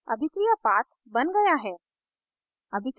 अभिक्रिया path बन गया है